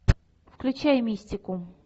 включай мистику